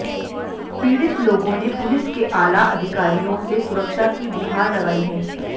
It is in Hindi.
पीड़ित लोगों ने पुलिस के आला अधिकारियों से सुरक्षा की गुहार लगाई है